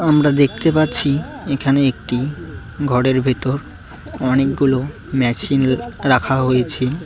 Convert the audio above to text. আমরা দেখতে পাচ্ছি এখানে একটি ঘরের ভেতর অনেকগুলো ম্যাচিন রাখা হয়েছে।